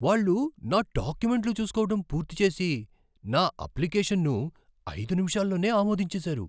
వాళ్ళు నా డాక్యుమెంట్లు చూస్కోవటం పూర్తి చేసి, నా అప్లికేషన్ను ఐదు నిమిషాల్లోనే ఆమోదించేశారు!